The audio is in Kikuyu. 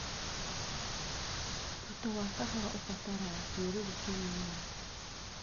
Tuta wa kahũa ũbataraga kĩruru kĩnini.